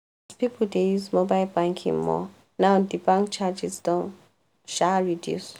people dey use mobile banking more now di bank charges don um reduce.